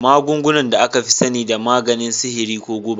Magunguna da aka fi sani da maganin sihiri ko guba.